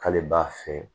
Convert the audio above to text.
K'ale b'a feere